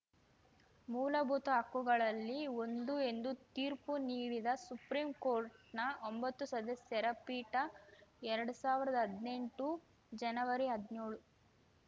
ಮೂಲಭೂತ ಹಕ್ಕುಗಳಲ್ಲಿ ಒಂದು ಎಂದು ತೀರ್ಪು ನೀಡಿದ ಸುಪ್ರೀಂಕೋರ್ಟ್‌ನ ಒಂಬತ್ತು ಸದಸ್ಯರ ಪೀಠ ಎರಡು ಸಾವಿರದ ಹದ್ನೆಂಟು ಜನವರಿಹದ್ನ್ಯೋಳು